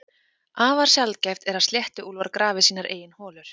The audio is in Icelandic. Afar sjaldgæft er að sléttuúlfar grafi sínar eigin holur.